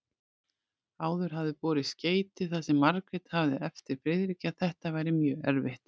Áður hafði borist skeyti þar sem Margrét hafði eftir Friðriki að þetta væri mjög erfitt.